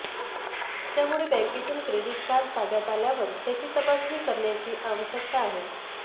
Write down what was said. त्यामुळे बॅँकेतून credit card ताब्यात आल्यावर त्याची तपासणी करण्याची आवश्यकता आहे